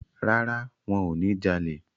Rárá, wọ́n ò ní jalè.